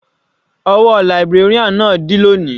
Ọwọ́ librarian náà dí lóni.